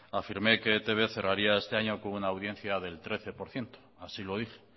afirmé que e i te be cerraría este año con una audiencia del trece por ciento así lo dije